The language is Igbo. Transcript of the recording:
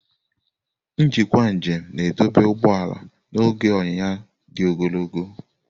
Njikwa njem na-edobe ụgbọ ala n'oge onyiya di ogologo.